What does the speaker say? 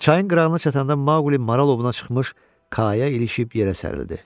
Çayın qırağına çatanda Maqli Maral ovuna çıxmış kaya ilişib yerə sərildi.